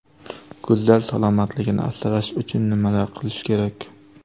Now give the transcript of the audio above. Ko‘zlar salomatligini asrash uchun nimalar qilish kerak?.